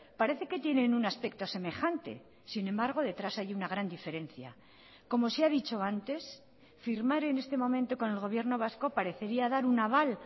parece que tienen un aspecto semejante sin embargo detrás hay una gran diferencia como se ha dicho antes firmar en este momento con el gobierno vasco parecería dar un aval